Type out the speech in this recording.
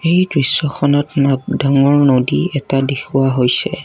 এই দৃশ্যখনত ন ডাঙৰ নদী এটা দেখুওৱা হৈছে।